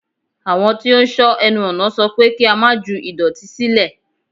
Àwọn tí ó ń sọ́ ẹnu ọ̀nà sọ pé kí á má ju ìdọ̀tí sílẹ̀.